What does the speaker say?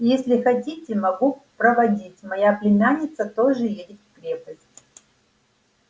если хотите могу проводить моя племянница тоже едет в крепость